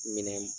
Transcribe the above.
Minɛn